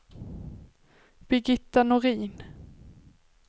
Birgitta Norin